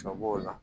Sɔ b'o la